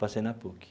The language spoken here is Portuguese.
Passei na PUC.